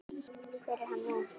Hver er hann nú?